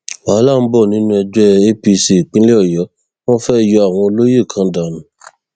wàhálà ń bọ nínú ẹgbẹ apc ìpínlẹ ọyọ wọn fẹẹ yọ àwọn olóyè kan dànù